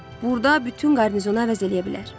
Burda bütün qarnizonu əvəz eləyə bilər.